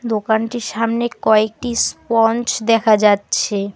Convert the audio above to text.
দোকানটির সামনে কয়েকটি স্পঞ্চ দেখা যাচ্ছে।